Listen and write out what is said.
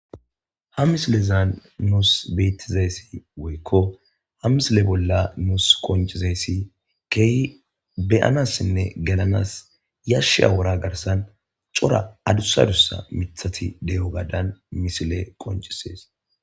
Ha misilezan nusi betizaysinne woykko hamisile bola nusi qonciza kehi gelanasinne beyanas yashiya worra garssan adussa addusa mitha deyewgan misiley qoncisses.